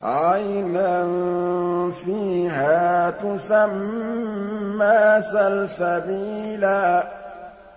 عَيْنًا فِيهَا تُسَمَّىٰ سَلْسَبِيلًا